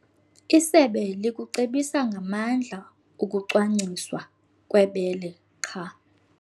Isebe likucebisa ngamandla ukuncanciswa kwebele qha.